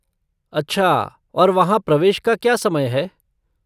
अच्छा और वहाँ प्रवेश का क्या समय है?